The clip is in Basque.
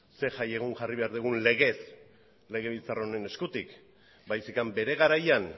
zein jai egun jarri behar dugun legez legebiltzar honen eskutik baizik eta bere garaian